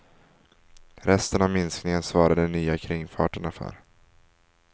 Resten av minskningen svarar de nya kringfarterna för.